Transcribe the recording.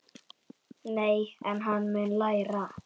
Nei, en hann mun læra.